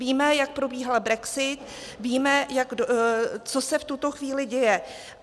Víme, jak probíhal brexit, víme, co se v tuto chvíli děje.